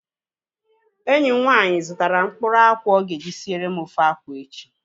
Enyi m nwaanyị zụtara mkpụrụ akwụ ọ ga-eji siere m ofe akwụ echi